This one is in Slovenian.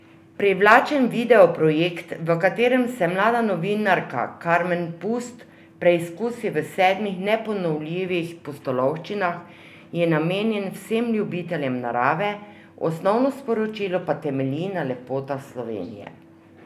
Privlačen video projekt, v katerem se mlada novinarka Karmen Pust preizkusi v sedmih neponovljivih pustolovščinah, je namenjen vsem ljubiteljem narave, osnovno sporočilo pa temelji na lepotah Slovenije.